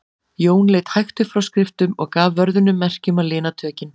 Jón leit hægt upp frá skriftum og gaf vörðunum merki um að lina tökin.